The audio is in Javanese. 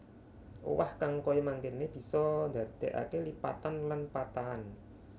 Owah kang kaya mangkéne bisa ndandékaké lipatan lan patahan